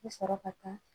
I bɛ sɔrɔ ka taa